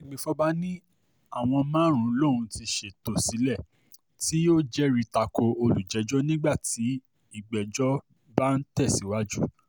àgbẹ̀fọ́fà ní àwọn márùn-ún lòún ti ṣètò sílẹ̀ tí yóò jẹ́rìí ta ko olùjẹ́jọ́ nígbà tí ìgbẹ́jọ́ bá ń tẹ̀síwájú